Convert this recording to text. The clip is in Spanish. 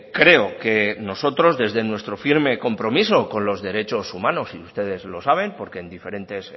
creo que nosotros desde nuestro firme compromiso con los derechos humanos y ustedes lo saben porque en diferentes